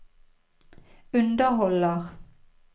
underholder